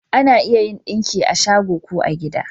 Ana iya yin ɗinki a shago ko a gida